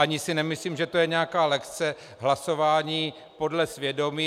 Ani si nemyslím, že to je nějaká lekce hlasování podle svědomí.